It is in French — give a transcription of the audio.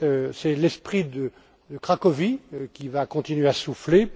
C'est l'esprit de Cracovie qui va continuer à souffler.